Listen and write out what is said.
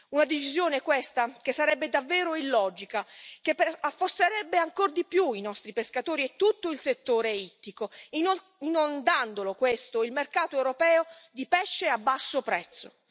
Una decisione, questa, che sarebbe davvero illogica, che affosserebbe ancor di più i nostri pescatori e tutto il settore ittico, inondando il mercato europeo di pesce a basso prezzo.